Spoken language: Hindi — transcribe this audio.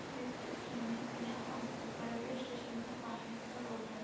इस चित्र में यहाँ पर रेलवे स्टेशन का बाहर का रोड है।